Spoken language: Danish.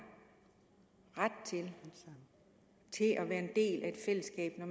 ret til at være en del af et fællesskab når